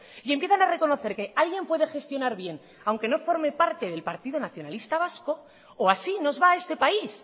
y empiezan a reconocer que alguien puede gestionar bien aunque no forme parte del partido nacionalista vasco o así nos va este país